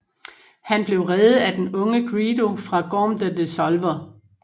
Han blev reddet af den unge Greedo fra Gorm the Dissolver